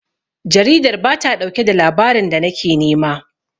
Jaridar ba ta ɗauke da labarin da nake nema.